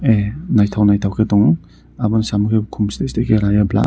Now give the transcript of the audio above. naitok naitok ke tongo aboni samo kei kom sete sete raiyo blua.